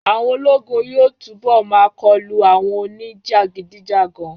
Àwọn ológun yóò túnbọ̀ máa kọlu àwọn oní jàgídíjàgan